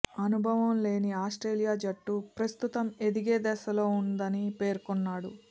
అనుభవం లేని ఆస్ట్రేలియా జట్టు ప్రస్తుతం ఎదిగే దశలో ఉందని పేర్కొన్నాడు